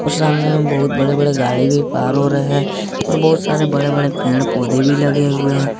सामने बहुत बड़े बड़े गाड़ी भी पार हो रहे हैं और बहुत सारे बड़े बड़े पेड़ पौधे भी लगे हुए हैं ।